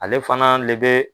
Ale fana le bɛ